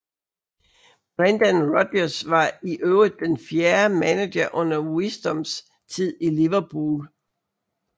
Brendan Rodgers var i øvrigt den fjerde manager under Wisdoms tid i Liverpool